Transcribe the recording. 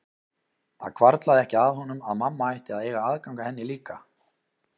Það hvarflaði ekki að honum að mamma ætti að eiga aðgang að henni líka.